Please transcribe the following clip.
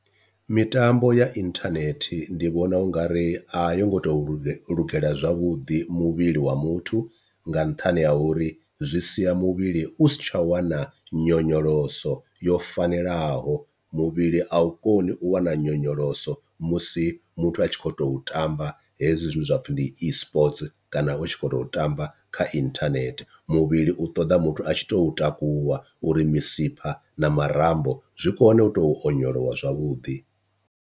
Mitambo ya inthanethe ndi vhona ungari a yo ngo to luge lugela zwavhuḓi muvhili wa muthu nga nṱhani ha uri zwi sia muvhili u sa tsha wana nyonyoloso yo fanelaho, muvhili a u koni u wana nyonyoloso musi muthu a tshi khou tou tamba hezwi zwine zwapfhi ndi Esports kana u tshi khou tou tamba kha inthanehte. Muvhili u ṱoḓa muthu a tshi to takuwa uri misipha na marambo zwi kone u tou onyolowa zwavhuḓi.